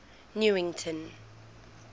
newington